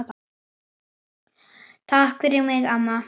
Takk fyrir mig, amma.